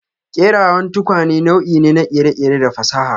Kerawan tukwane nau'i ne na kere-kere da fasaha.